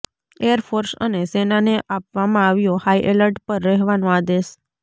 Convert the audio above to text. air force અને સેનાને આપવામાં આવ્યો હાઇએલર્ટ પર રહેવાનો આદેશ